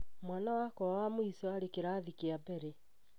Mwana wakwa wa mũico arĩ kĩrathi kĩa mbere